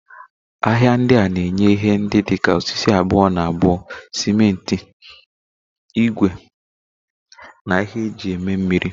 Ahịa ndị a na-enye ihe ndị dị ka osisi abuo-na-abuo, simenti, ígwè, na ihe eji eme mmiri.